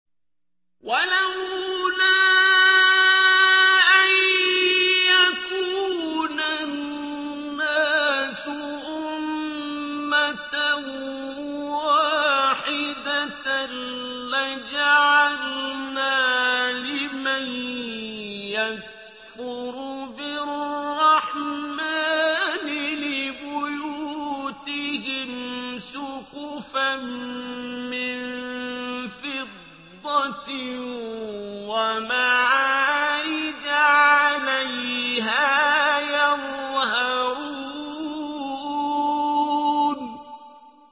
وَلَوْلَا أَن يَكُونَ النَّاسُ أُمَّةً وَاحِدَةً لَّجَعَلْنَا لِمَن يَكْفُرُ بِالرَّحْمَٰنِ لِبُيُوتِهِمْ سُقُفًا مِّن فِضَّةٍ وَمَعَارِجَ عَلَيْهَا يَظْهَرُونَ